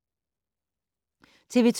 TV 2